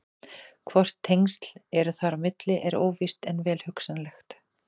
Hvort tengsl eru þar á milli er óvíst en vel hugsanlegt.